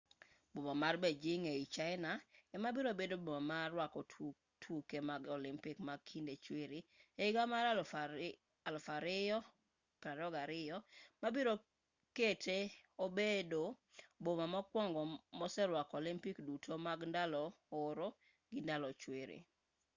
boma mar beijing ei china ema biro bedo boma ma rwako tuke mag olympic mag kinde chwiri e higa mar 2022 ma biro kete obedo boma mokwongo moserwako olympic duto mag ndalo oro gi ndalo chwiri